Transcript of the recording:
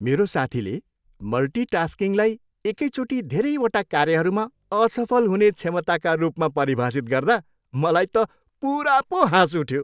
मेरो साथीले मल्टिटास्किङलाई एकैचोटि धेरैवटा कार्यहरूमा असफल हुने क्षमताका रूपमा परिभाषित गर्दा मलाई त पुरा पो हाँस उठ्यो।